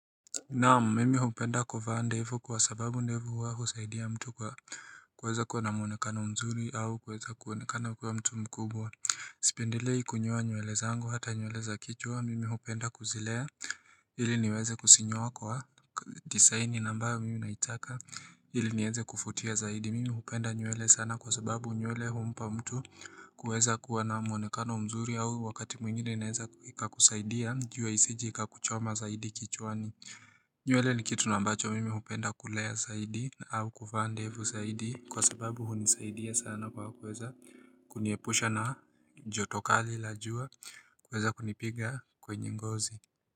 Naam, mimi hupenda kuvaa ndevu kwa sababu ndevu huwa husaidia mtu kwa kuweza kuwa na mwonekano mzuri au kuweza kuonekana kuwa mtu mkubwa. Sipendelei kunyoa nywele zangu hata nywele za kichwa, mimi hupenda kuzilea ili niweze kuzinyoa kwa desaini ambayo mimi naitaka ili nieze kuvutia zaidi. Mimi hupenda nywele sana kwa sababu nywele humpa mtu kuweza kuwa na mwonekano mzuri au wakati mwingine inaweza ikakusaidia jua isije ikakuchoma saidi kichwani nywele ni kitu na ambacho mimi hupenda kulea zaidi au kuvaa ndevu zaidi kwa sababu hunisaidia sana kwa kuweza Kuniepusha na joto kali la jua kuweza kunipiga kwenye ngozi.